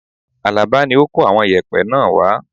Alaba ni ó kó àwọn yẹ̀pẹ́ náà wá